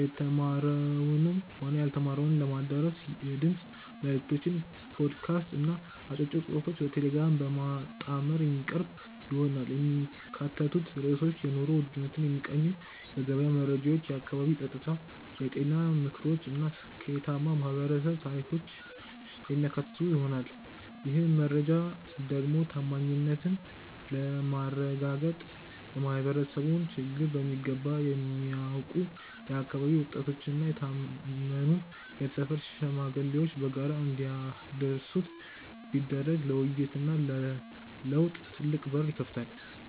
የተማረውንም ሆነ ያልተማረውን ለማዳረስ የድምፅ መልዕክቶችን (ፖድካስት) እና አጫጭር ጽሑፎችን በቴሌግራም በማጣመር የሚቀርብ ይሆናል። የሚካተቱት ርዕሶችም የኑሮ ውድነትን የሚቃኙ የገበያ መረጃዎች፣ የአካባቢ ጸጥታ፣ የጤና ምክሮች እና ስኬታማ የማኅበረሰብ ታሪኮችን የሚያካትቱ ይሆናል። ይህን መረጃ ደግሞ ታማኝነትን ለማረጋገጥ የማኅበረሰቡን ችግር በሚገባ የሚያውቁ የአካባቢው ወጣቶችና የታመኑ የሰፈር ሽማግሌዎች በጋራ እንዲያደርሱት ቢደረግ ለውይይትና ለለውጥ ትልቅ በር ይከፍታል።